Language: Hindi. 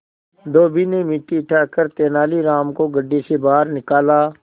धोबी ने मिट्टी हटाकर तेनालीराम को गड्ढे से बाहर निकाला